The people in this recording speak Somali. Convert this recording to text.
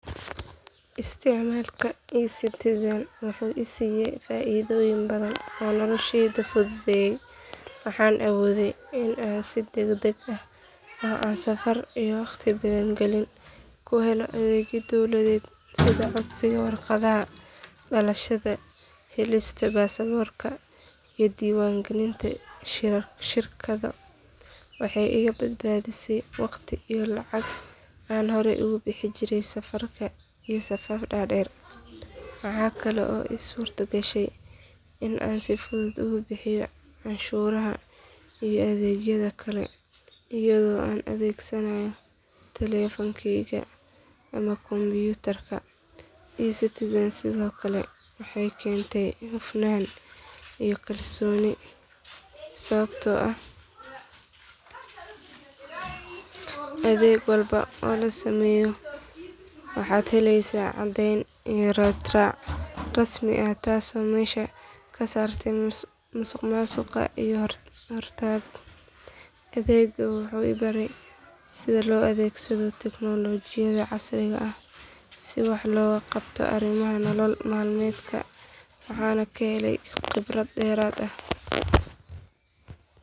Isticmaalka ecitizen wuxuu i siiyay faaidooyin badan oo noloshayda fududeeyay waxaan awooday in aan si degdeg ah oo aan safar iyo waqti badan gelin ku helo adeegyo dowladeed sida codsiga warqadaha dhalashada helista baasaboorka iyo diiwaangelinta shirkado. Waxay iga badbaadisay waqti iyo lacag aan horey ugu bixi jiray safarka iyo safaf dhaadheer. Waxaa kale oo ii suurtagashay in aan si fudud ugu bixiyo canshuuraha iyo adeegyada kale iyadoo aan adeegsanayo telefoonkeyga ama kombiyuutarka. Ecitizen sidoo kale waxay keentay hufnaan iyo kalsooni sababtoo ah adeeg walba oo la sameeyo waxaad heleysaa caddeyn iyo raad raac rasmi ah taas oo meesha ka saartay musuqmaasuq iyo is hortaag. Adeeggan wuxuu i baray sida loo adeegsado tignoolajiyada casriga ah si wax looga qabto arrimaha nolol maalmeedka waxaana ka helay khibrad dheeraad ah.